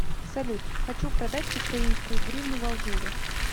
салют хочу продать украинскую гривну в алжире